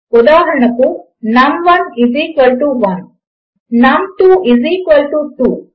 ఉదాహరణకు నమ్1 1 నమ్2 2